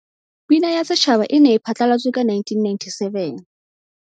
Pina ya Setjhaba e ne e phatlalatswe ka 1997.